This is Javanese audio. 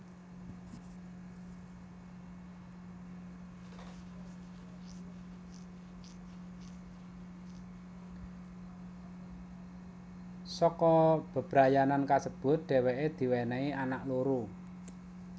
Saka bebrayanan kasebut dhèwèké diwènèhi anak loro